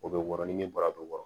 O bɛ wɔɔrɔ ni bara bɛ wɔɔrɔ